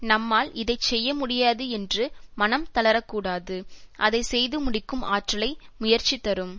நம்மால் இதை செய்யமுடியாது என்று மனம் தளரக்கூடாது அதை செய்து முடிக்கும் ஆற்றலை முயற்சி தரும்